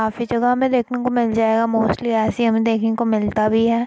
काफी जगह हमे देखने को मिल जाएगा। मोस्टली हमे देखने को मिलता भी है।